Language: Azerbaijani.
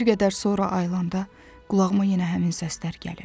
Bir qədər sonra ayılanda, qulağıma yenə həmin səslər gəlir.